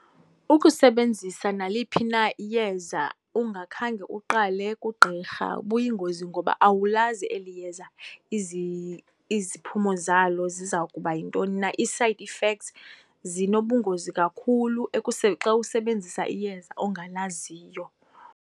Ukusebenzisa naliphi na iyeza ungakhange uqale kugqirha buyingozi ngoba awulazi eli yeza iziphumo zalo ziza kuba yintoni na. Ii-side effects zinobungozi kakhulu xa usebenzisa iyeza ongalaziyo.